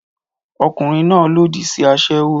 Ọkùnrin náà lòdì sí aṣẹ́wó